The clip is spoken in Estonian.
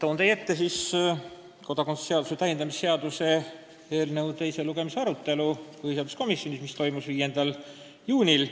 Annan teile ülevaate kodakondsuse seaduse täiendamise seaduse eelnõu teise lugemise arutelust põhiseaduskomisjonis, mis toimus 5. juunil.